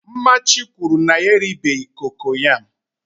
mmachi kwuru na ya eribeghi kokoyam